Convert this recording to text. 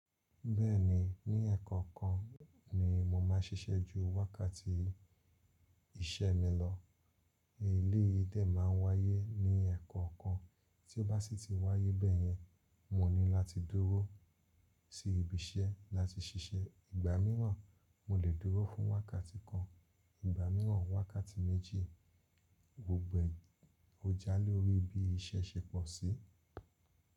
Bẹ́ẹ̀ni, ní ẹ̀ẹ̀kọ̀ọ̀kan ni mo máa ń ṣiṣẹ́ ju wákàtí iṣẹ́ mi lọ. Eléyìí dẹ ma ń wáyé ní ẹ̀ẹ̀kọ̀ọ̀kan, tí ó bá ṣì ti wáyé bẹ́yẹn, mo ní láti dúró sí ibi iṣẹ́ láti ṣiṣẹ́. Ìgbà míràn, mo lè dúró fún wákàtí kan, ìgbà míràn wákàtí méjì. Gbogbo ẹ, ó já lórí bí iṣẹ́ ṣe pọ̀ sí.